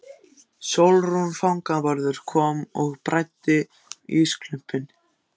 Sólrún fangavörður kom og bræddi ísklumpinn.